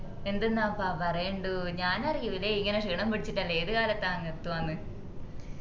എന്തിന്നപ്പാ പറയേണ്ടു ഞാനറിയുലെ ഇങ്ങനെ ക്ഷീണംപിടിച്ചിട്ടന്ന് ഏത്കാലത്ത അങ് എത്തുവാന്നു